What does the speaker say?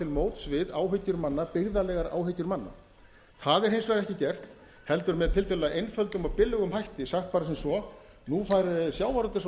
móts við byggðalegar áhyggjur manna það er hins vegar ekki gert heldur með tiltölulega einföldum og billegum hætti sagt bara sem svo nú fá sjávarútvegs og